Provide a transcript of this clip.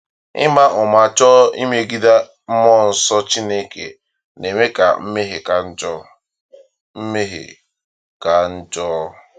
Ịma ụma chọọ imegide Mmụọ Nsọ Chineke na-eme ka mmehie ka njọ. mmehie ka njọ.